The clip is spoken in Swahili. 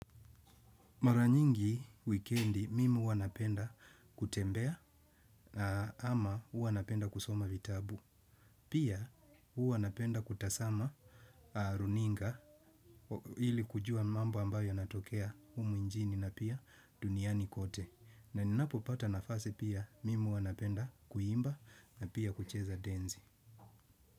Maranyingi wikendi mimi huwanapenda kutembea ama huwa napenda kusoma vitabu. Pia huwa napenda kutasama runinga ili kujua mambo ambayo yanatokea humu njini na pia duniani kote. Na ninapo pata nafasi pia mimi huwa napenda kuimba na pia kucheza denzi.